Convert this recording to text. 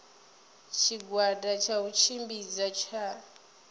tshigwada tsha u tshimbidza tsha